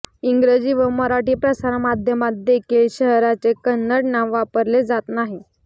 इंग्रजी व मराठी प्रसारमाध्यमांत देखील शहराचे कन्नड नाव वापरले जात नाही